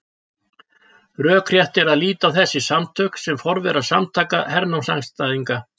Rökrétt er að líta á þessi samtök sem forvera Samtaka hernámsandstæðinga.